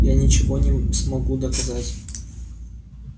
я ничего не смогу доказать